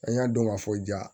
An y'a dɔn ka fɔ ja